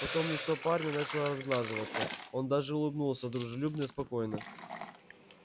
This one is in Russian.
потом лицо парня начало разглаживаться он даже улыбнулся дружелюбно спокойно